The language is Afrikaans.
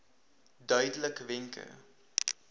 duidelikwenke